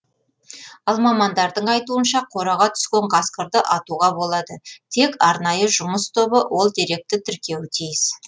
ал мамандардың айтуынша қораға түскен қасқырды атуға болады тек арнайы жұмыс тобы ол деректі тіркеуі тиіс